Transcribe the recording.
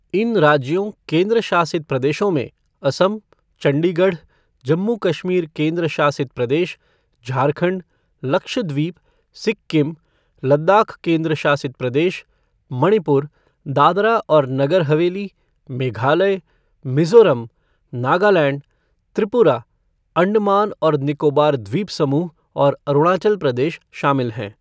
इन राज्यों, केंद्र शासित प्रदेशों में असम, चंडीगढ़, जम्मू कश्मीर केन्द्र शासित प्रदेश, झारखंड, लक्षद्वीप, सिक्किम, लद्दाख केन्द्र शासित प्रदेश, मणिपुर, दादरा और नगर हवेली, मेघालय, मिजोरम, नगालैंड, त्रिपुरा, अंडमान और निकोबार द्वीपसमूह और अरूणाचल प्रदेश शामिल हैं।